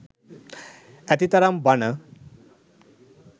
ඇතිතරම් බණ.